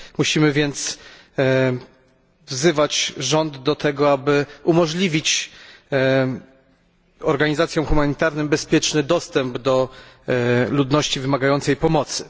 Musimy więc wzywać rząd do tego, aby umożliwić organizacjom humanitarnym bezpieczny dostęp do ludności wymagającej pomocy.